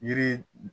Yiri